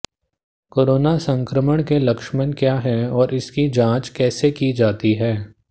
corona संक्रमण के लक्षम क्या है और इसकी जांच कैसे की जाती है